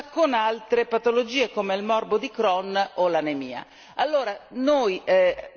Ma ancora oggi viene confusa con altre patologie come il morbo di Crohn o l'anemia.